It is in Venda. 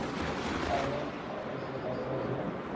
ane a oea sa zwe